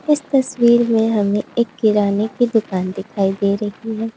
इस तस्वीर में हमें एक किराने की दुकान दिखाई दे रही है।